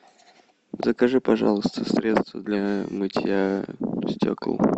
закажи пожалуйста средство для мытья стекол